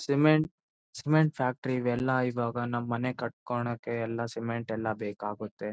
ಸಿಎಂರಂಟ್ cement factory ಇವೆಲ್ಲ ಇವಾಗ ನಮ್ ಮನೆ ಕಟ್ಕೋನಕ್ಕೆ ಎಲ್ಲ ಸಿಮೆಂಟ್ ಎಲ್ಲ ಬೇಕಾಗುತ್ತೆ.